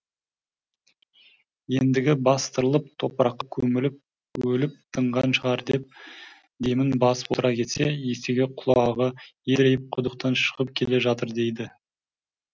ендігі бастырылып топыраққа көміліп өліп тынған шығар деп демін басып отыра кетсе есегі құлағы едірейіп құдықтан шығып келе жатыр дейді